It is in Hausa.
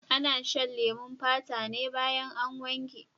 Ana shan leman fata ne baya an wanke.